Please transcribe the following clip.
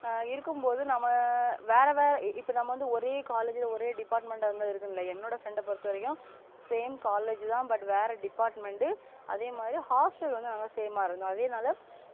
ஆஹ் இருக்கும் போது நம்ம ஆ வேற வேற இப்ப நம்ம வந்து ஒரே college ல ஒரே department டா இருந்தா இருக்கும் இல்லையா என்னோட friend அ பொருத்தவரைக்கும college தா but வேற department ட்டு அதே மாதிரி hostel வந்து நாங்க same ஆ இருந்தோம் அதேநாள